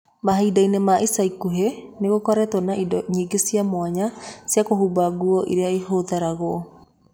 Mahinda-inĩ ma ica ikuhĩ, nĩ gũkoretwo na indo nyingĩ cia mwanya cia kũhumba nguo iria ihũthagĩrũo.